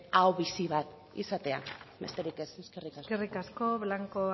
ahobizi bat izatea besterik ez eskerrik asko eskerrik asko blanco